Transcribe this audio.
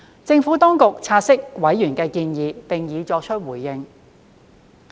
政府當局察悉委員的建議並已作出回應。